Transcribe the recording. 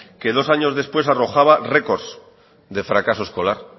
que dos años después arrojaba récords de fracaso escolar